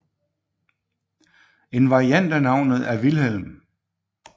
En variant af navnet er er Vilhelm